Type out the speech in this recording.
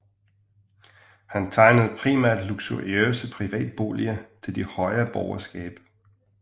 Han tegnede primært luksuriøse privatboliger til det højere borgerskab